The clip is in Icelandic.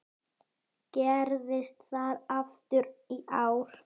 Gerðist það aftur í ár.